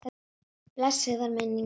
Blessuð veri minning hans.